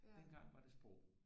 Dengang var det sprog